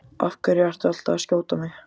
Af hverju ertu alltaf að skjóta á mig?